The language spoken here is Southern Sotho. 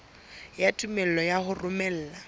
ya tumello ya ho romela